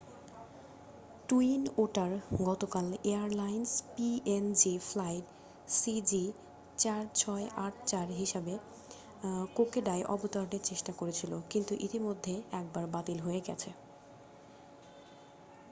twin otter গতকাল airlines PNG flight সিজি4684 হিসেবে কোকোডায় অবতরণের চেষ্টা করছিল কিন্তু ইতিমধ্যে একবার বাতিল হয়ে গেছে